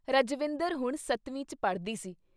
ਰਜਵਿੰਦਰ ਹੁਣ ਸੱਤਵੀਂ 'ਚ ਪੜ੍ਹਦੀ ਸੀ ।